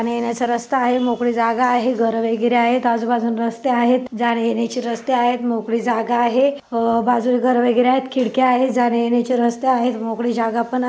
जाण्या येण्याचे रस्ता आहे मोकळी जागा आहे घर वगैरे आहे आजू बाजूला रस्ते आहेत जाण्या येण्याची रस्ते आहेत मोकळी जागा आहे आ बाजूला घर वगैरे आहेत खिडक्या आहेत जाण्या येण्याच रास्ता आहे मोकळी जागापण आहे.